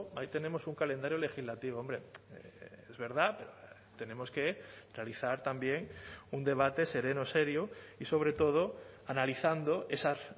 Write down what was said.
ahí tenemos un calendario legislativo hombre es verdad tenemos que realizar también un debate sereno serio y sobre todo analizando esas